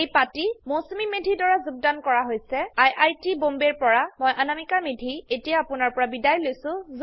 এই পাঠটি মৌচুমী মেধি দ্ৱাৰা যোগদান কৰা হৈছে মই Anamika Medhi I I T বম্বেৰ পৰা বিদায় লৈছো